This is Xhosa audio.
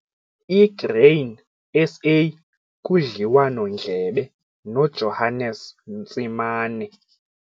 I-Grain SA kudliwano-ndlebe noJohannes Ntsimane